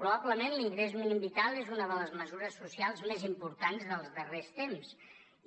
probablement l’ingrés mínim vital és una de les mesures socials més importants dels darrers temps